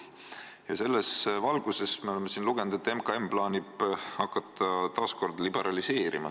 Ent selles valguses, nagu me oleme siin lugenud, plaanib MKM hakata taas kord seda turgu liberaliseerima.